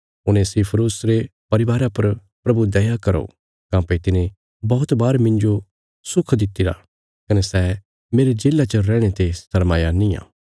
उनेसिफुरुस रे परिवारा पर प्रभु दया करो काँह्भई तिने बौहत बार मिन्जो सुख दित्तिरा कने सै मेरे जेल्ला च रैहणे ते शर्माया निआं